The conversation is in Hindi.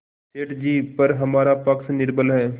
सेठ जीपर हमारा पक्ष निर्बल है